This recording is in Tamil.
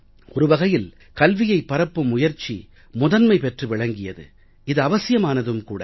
ஒரு வகையில் கல்வியைப் பரப்பும் முயற்சி முதன்மை பெற்று விளங்கியது இது அவசியமானதும் கூட